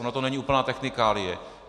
Ona to není úplná technikálie.